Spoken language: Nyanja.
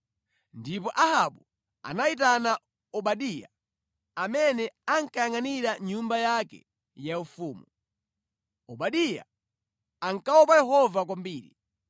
ndipo Ahabu anayitana Obadiya amene ankayangʼanira nyumba yake yaufumu. (Obadiya ankaopa Yehova kwambiri.